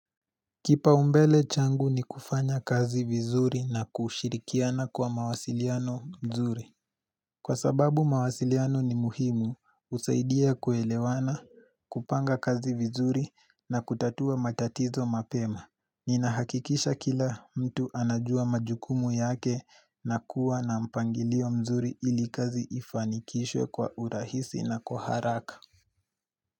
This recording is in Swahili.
Kipa umbele changu ni kufanya kazi vizuri na kushirikiana kwa mawasiliano mzuri. Kwa sababu mawasiliano ni muhimu husaidia kuelewana, kupanga kazi vizuri na kutatua matatizo mapema. Nina hakikisha kila mtu anajua majukumu yake na kuwa na mpangilio mzuri ili kazi ifanikishwe kwa urahisi na kwa haraka.